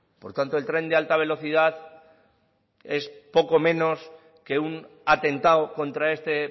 por tanto el tren de alta velocidad es poco menos que un atentado contra este